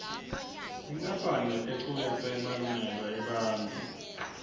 tinkampane leticuketse emalungelo ebantfu